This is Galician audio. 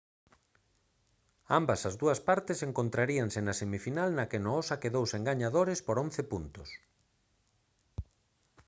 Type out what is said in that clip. ambas as dúas partes encontraríanse na semifinal na que noosa quedou sen gañadores por 11 puntos